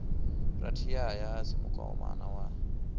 rathiyaya a si mukoma wa